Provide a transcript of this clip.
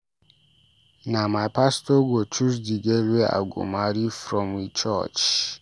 Na my pastor go choose di girl wey I go marry from we church.